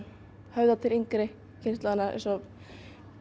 höfða til yngri kynslóðarinnar eins og